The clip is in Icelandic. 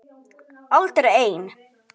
Aldrei ein